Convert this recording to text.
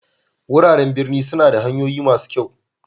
Wuraren birni suna da hanyoyin masu kyau.